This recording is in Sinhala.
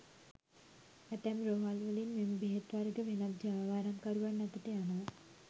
ඇතැම් රෝහල්වලින් මෙම බෙහෙත් වර්ග වෙනත් ජාවාරම්කරුවන් අතට යනවා.